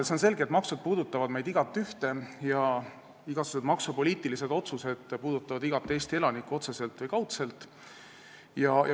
See on selge, et maksud puudutavad meist igaühte ja igasugused maksupoliitilised otsused puudutavad otseselt või kaudselt iga Eesti elanikku.